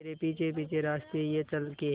तेरे पीछे पीछे रास्ते ये चल के